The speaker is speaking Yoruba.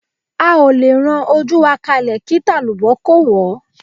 á o lẹ rán ojú ka kálẹ, kí talubọ́ kó wọ́